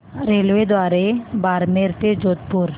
रेल्वेद्वारे बारमेर ते जोधपुर